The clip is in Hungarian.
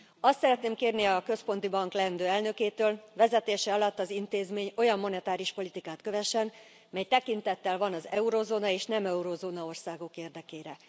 Azt szeretném kérni a központi bank leendő elnökétől, hogy vezetése alatt az intézmény olyan monetáris politikát kövessen, mely tekintettel van az eurózóna és nem eurózóna országok érdekére.